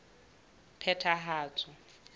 phethahatso